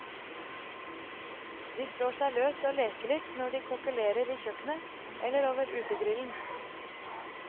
De slår seg løs og leker litt når de kokkelerer i kjøkkenet, eller over utegrillen.